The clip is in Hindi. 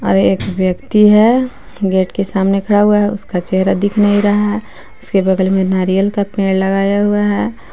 एक व्यक्ति है गेट के सामने खड़ा हुआ है उसका चेहरा दिख नहीं रहा है उसके बगल में नारियल का पेड़ लगाया हुआ है।